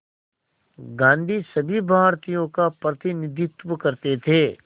गांधी सभी भारतीयों का प्रतिनिधित्व करते थे